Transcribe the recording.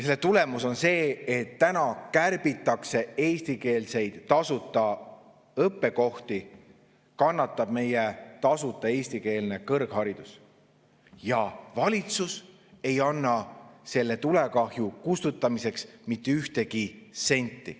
Selle tulemus on see, et kärbitakse eestikeelseid tasuta õppekohti ja kannatab tasuta eestikeelne kõrgharidus, aga valitsus ei anna selle tulekahju kustutamiseks mitte ühtegi senti.